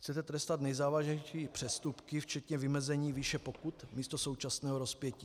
Chcete trestat nejzávažnější přestupky včetně vymezení výše pokut místo současného rozpětí.